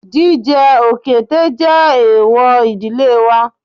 Jíjẹ òkété jẹ́ èwò ìdílé wa